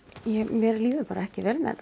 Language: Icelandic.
mér líður bara ekki vel með